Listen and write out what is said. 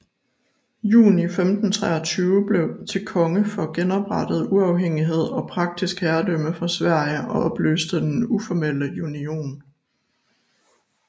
Juni 1523 til konge for genoprettet uafhængighed og praktisk herredømme for Sverige og opløste den uformelle union